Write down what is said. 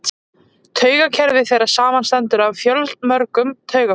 Taugakerfi þeirra samanstendur af fjölmörgum taugafrumum.